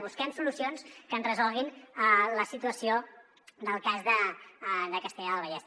busquem solucions que ens resolguin la situació del cas de castellar del vallès